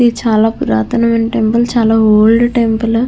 ఇది చాలా పురాతన మైన టెంపుల్ చాలా ఓల్డ్ టెంపుల్ .